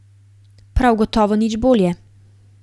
Prav gotovo nič bolje.